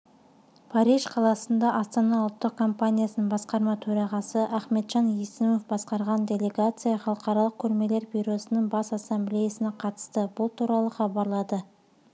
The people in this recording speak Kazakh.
париж қаласында астана ұлттық компаниясының басқарма төрағасы ахметжан есімов басқарған делегацияхалықаралық көрмелер бюросының бас ассамблеясына қатысты бұл туралы хабарлады